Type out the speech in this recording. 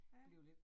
Ja